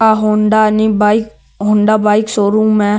आ Honda नी bike Honda bike showroom है।